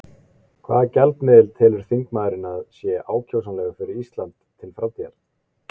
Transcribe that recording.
Hvaða gjaldmiðil telur þingmaðurinn að sé ákjósanlegur fyrir Ísland til framtíðar?